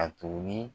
A tugunni